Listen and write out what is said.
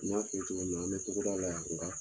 N y'a fɔ i ye cogo min na an bɛ tɔgɔda la yan